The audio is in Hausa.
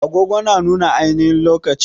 Agogo na nuna ainihin lokaci